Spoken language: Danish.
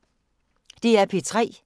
DR P3